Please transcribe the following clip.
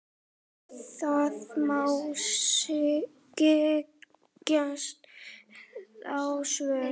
Það má giska á svör.